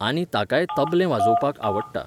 आनी ताकाय तबलें वाजोवपाक आवडटा.